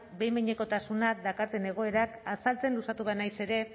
behin behinekotasuna daukaten egoerak azaltzen luzatuko naiz ere